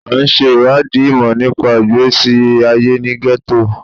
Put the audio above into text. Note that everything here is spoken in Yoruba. À ń ṣe ìwádìí ìmọ̀ nípa ìgbésí ayé ní gẹ́tò.